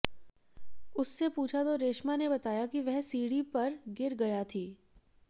उससे पूछा तो रेशमा ने बताया कि वह सिढ़ी पर गिर गया थी